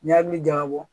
N'i y'a hakili jagabɔ